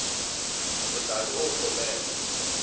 o tla be o kgopela